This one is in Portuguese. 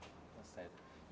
Tá certo.